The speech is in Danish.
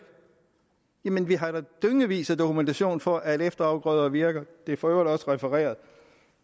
jamen vi har da dyngevis af dokumentation for at efterafgrøder virker det er for øvrigt også refereret